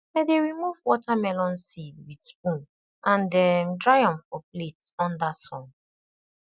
i dey remove watermelon seed with spoon and um dry am for plate under sun